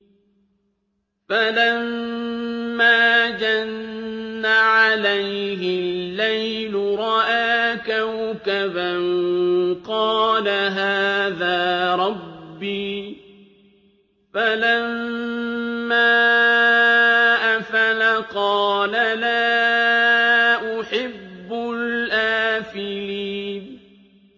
فَلَمَّا جَنَّ عَلَيْهِ اللَّيْلُ رَأَىٰ كَوْكَبًا ۖ قَالَ هَٰذَا رَبِّي ۖ فَلَمَّا أَفَلَ قَالَ لَا أُحِبُّ الْآفِلِينَ